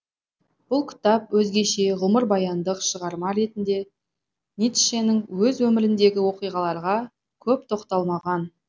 бұл кітап өзгеше ғұмырбаяндық шығарма ретінде ницшенің өз өміріндегі оқиғаларға көп тоқталмаған